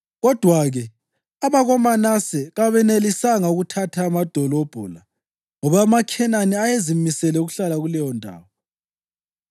Kodwa-ke abakoManase kabenelisanga ukuthatha amadolobho la ngoba amaKhenani ayezimisele ukuhlala kuleyondawo.